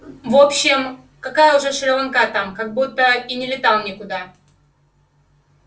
в общем какая уже шри-ланка там как будто и не летал никуда